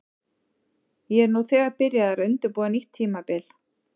Ég er nú þegar byrjaður að undirbúa nýtt tímabil.